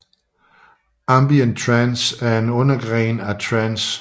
Ambient trance er en undergenre af trance